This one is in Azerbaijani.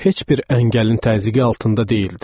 Heç bir əngəlin təzyiqi altında deyildi.